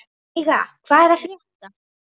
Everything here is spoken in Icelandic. Veiga, hvað er að frétta?